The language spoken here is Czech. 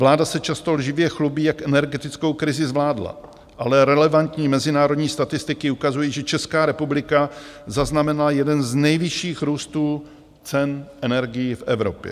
Vláda se často lživě chlubí, jak energetickou krizi zvládla, ale relevantní mezinárodní statistiky ukazují, že Česká republika zaznamenala jeden z nejvyšších růstů cen energií v Evropě.